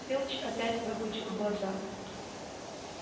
филч опять выпучил глаза